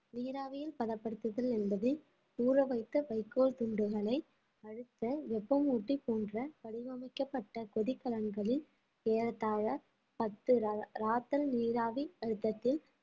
நீராவியில் பதப்படுத்துதல் என்பது ஊறவைத்த வைக்கோல் துண்டுகளை அழுத்த வெப்பமூட்டி போன்ற வடிவமைக்கப்பட்ட கொதிக்கலன்களில் ஏறத்தாழ பத்து ரா~ ராத்தல் நீராவி அழுத்தத்தில்